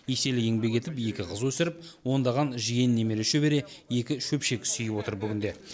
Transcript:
еселі еңбек етіп екі қыз өсіріп ондаған жиен немере шөбере екі шөпшек сүйіп отыр бүгінде